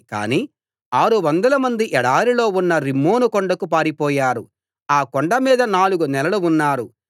కాని ఆరువందలమంది ఎడారిలో ఉన్న రిమ్మోను కొండకు పారిపోయారు ఆ కొండ మీద నాలుగు నెలలు ఉన్నారు